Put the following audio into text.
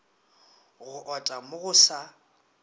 go ota mo go sa